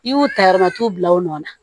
I y'u ta yɔrɔ min t'u bila o nɔ na